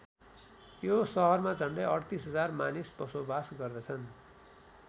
यो सहरमा झन्डै ३८ हजार मानिस बसोबास गर्दछन्।